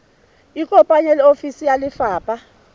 ikopanye le ofisi ya lefapha